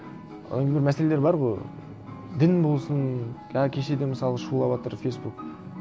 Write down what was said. ол енді бір мәселелер бар ғой дін болсын кешеде мысалы шулаватыр фейсбук